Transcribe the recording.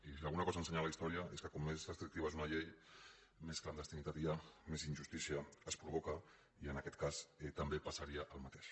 i si alguna cosa ha ensenyat la història és que com més restrictiva és una llei més clandestinitat hi ha més injustícia es provoca i en aquest cas també passaria el mateix